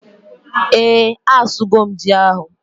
ee, a su go m ji ahu